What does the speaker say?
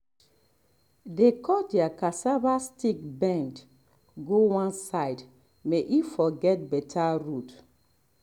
dey cut their cassava stick bend go one side may e for get better root